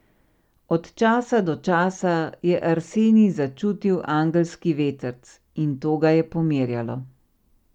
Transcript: Od časa do časa je Arsenij začutil angelski vetrc, in to ga je pomirjalo.